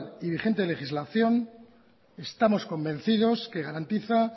y vigente legislación estamos convencidos que garantizan